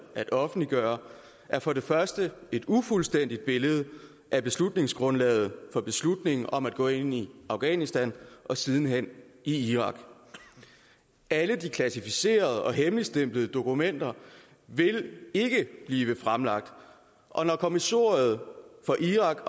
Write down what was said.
at offentliggøre er for det første et ufuldstændigt billede af beslutningsgrundlaget for beslutningen om at gå ind i afghanistan og siden hen i irak alle de klassificerede og hemmeligstemplede dokumenter vil ikke blive fremlagt og når kommissoriet for irak